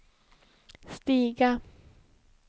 stiga